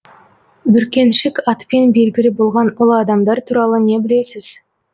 бүркеншік атпен белгілі болған ұлы адамдар туралы не білесіз